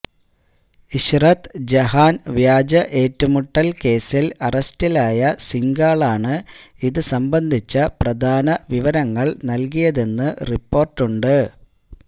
ഇശ്റത് ജഹാന് വ്യാജ ഏറ്റുമുട്ടല് കേസില് അറസ്റ്റിലായ സിംഗാളാണ് ഇതുസംബന്ധിച്ച പ്രധാന വിവരങ്ങള് നല്കിയതെന്ന് റിപ്പോര്ട്ടുണ്ട്